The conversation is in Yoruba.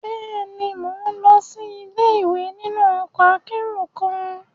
Bẹẹni, Mo lọ si ile-iwe ninu ọkọ akero kan